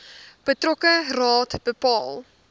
betrokke raad bepaal